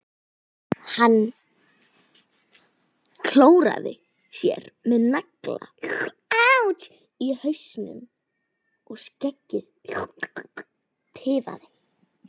Hann klóraði sér með nagla í hausnum og skeggið tifaði.